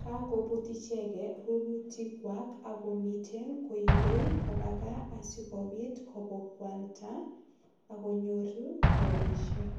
Kakoput icheget rurutikwa ak komiten koibe kopa kaa asigopit kobakwalda akkonyoru rapisiek.